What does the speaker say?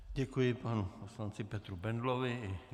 Děkuji, panu poslanci Petru Bendlovi.